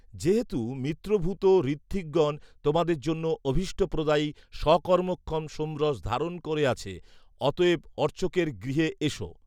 যেহেতু মিত্রভূত ঋথ্বিকগণ তোমাদের জন্য অভীষ্টপ্রদায়ী স্বকর্মক্ষম সোমরস ধারণ করে আছে। অতএব অর্চকের গৃহে এস